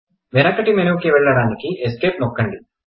వెనకటి మెనుకి వెళ్ళడానికి ఎస్కేప్ నొక్కుదాం